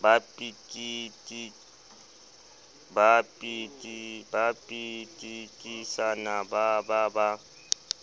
ba pitikisana ba ba ba